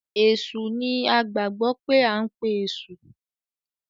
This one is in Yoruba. Èsù ní a gbagbọ pe ankpe eṣu.